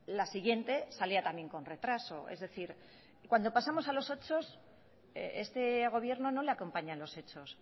la siguiente salía también con retraso es decir cuando pasamos a los hechos este gobierno no le acompañan los hechos